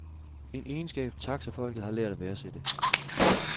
En egenskab, taxafolket har lært at værdsætte.